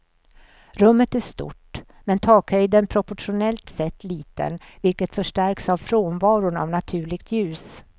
Rummet är stort, men takhöjden proportionellt sett liten, vilket förstärks av frånvaron av naturligt ljus.